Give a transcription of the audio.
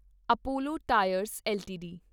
Apollo tyres LTD